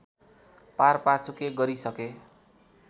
पारपाचुके गरिसके